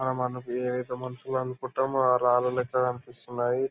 ఇక్కడా మనకి మనసులో అనుకుంటామో ఆ రాళ్ళు లెక్క కనిపిస్తున్నాయి.